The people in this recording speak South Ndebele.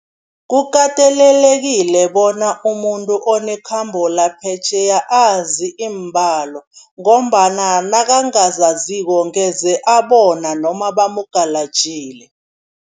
Kukatelelekile bona umuntu onekhambo laphetjheya azi iimbalo ngombana nakangazaziko, angeze abona noma bamugalajile.